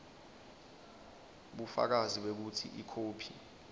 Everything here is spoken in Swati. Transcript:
bufakazi bekutsi ikhophi